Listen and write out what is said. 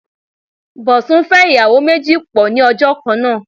Bọ̀sún fẹ́ ìyàwó méjì pọ̀ ní ọjọ́ kan náà.